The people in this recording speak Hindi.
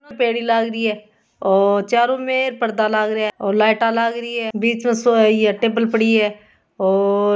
पेडी लग रही है चारों में पर्दा लग रहा और लाइट लग रही है और बीच में सोया टेबल पड़ी है और --